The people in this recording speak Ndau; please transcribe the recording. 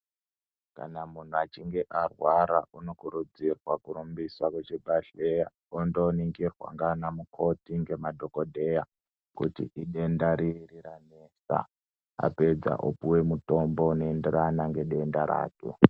Kana munhu achinge arwara unokurudzirwa kurumbiswa kuchibhedhleya, ondoningirwa ndianamukoti ngemadhokodheya, kuti idenda riri ranesa, apedza opuwe mitombo inoenderana ngedenda rake.